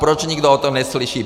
Proč nikdo o tom neslyší?